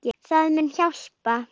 Það muni hjálpa.